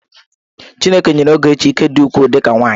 Chineke nyere Ogechi ike dị ukwuu dị ka nwaanyị.